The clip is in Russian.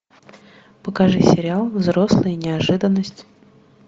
покажи сериал взрослая неожиданность